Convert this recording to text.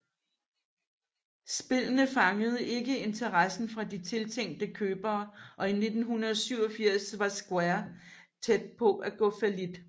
Spillene fangede ikke interessen fra de tiltænkte købere og i 1987 var Square tæt på at gå fallit